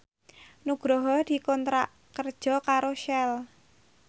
Nugroho dikontrak kerja karo Shell